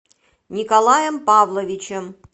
николаем павловичем